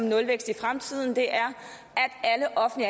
nulvækst i fremtiden